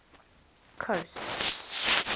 coast